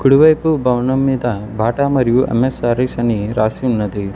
కుడి వైపు భవనం మీద బాటా మరియు ఎం ఎస్ సారీస్ అని రాసి ఉన్నది.